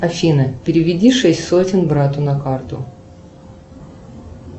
афина переведи шесть сотен брату на карту